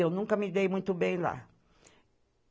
Eu nunca me dei muito bem lá.